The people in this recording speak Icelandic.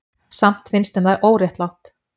Samt finnst þeim það óréttlátt.